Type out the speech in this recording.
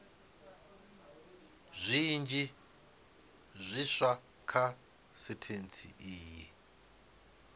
zwinzhi zwiswa kha sentshari iyi